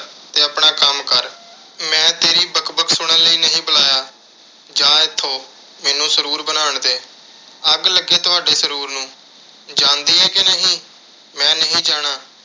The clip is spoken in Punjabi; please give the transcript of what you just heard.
ਤੇ ਆਪਣਾ ਕੰਮ ਕਰ। ਮੈਂ ਤੇਰੀ ਬਕ-ਬਕ ਸੁਣਨ ਲਈ ਨਹੀਂ ਬੁਲਾਇਆ। ਜਾ ਇੱਥੋਂ ਮੈਨੂੰ ਸਰੂਰ ਬਣਾਉਣ ਦੇ। ਅੱਗ ਲੱਗੇ ਤੁਹਾਡੇ ਸਰੂਰ ਨੂੰ। ਜਾਂਦੀ ਏ ਕਿ ਨਹੀਂ। ਮੈਂ ਨਹੀਂ ਜਾਣਾ।